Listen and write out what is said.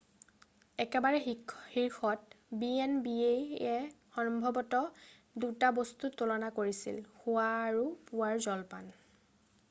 একেবাৰে শীৰ্ষত b&b য়ে সম্ভৱত 2টা বস্তু তুলনা কৰিছিল শোৱা আৰু পূৱাৰ জলপান